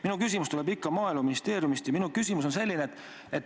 Minu küsimus tuleb ikka Maaeluministeeriumi kohta ja minu küsimus on selline.